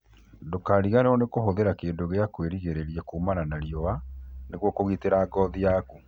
Ndũkariganĩrwo nĩ kũhũthĩra kĩndũ gĩa kwĩrigĩrĩria kumana na riũa nĩguo kũgitĩra ngothi yaku